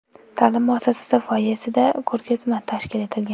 Ta’lim muassasasi foyesida ko‘rgazma tashkil etilgan.